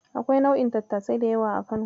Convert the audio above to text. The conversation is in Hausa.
Akwai nau'in tattasai da yawa a Kano.